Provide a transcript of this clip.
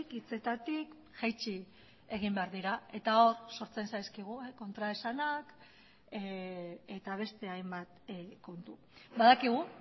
hitzetatik jaitsi egin behar dira eta hor sortzen zaizkigu kontraesanak eta beste hainbat kontu badakigu